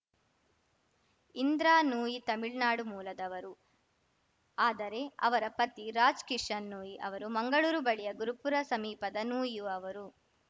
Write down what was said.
ಇಂದ್ರಾ ನೂಯಿ ತಮಿಳ್ನಾಡು ಮೂಲದವರು ಆದರೆ ಅವರ ಪತಿ ರಾಜ್‌ ಕಿಶನ್‌ ನೂಯಿ ಅವರು ಮಂಗಳೂರು ಬಳಿಯ ಗುರುಪುರ ಸಮೀಪದ ನೂಯಿಅವರು